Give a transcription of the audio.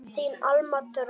Þín Alma Dröfn.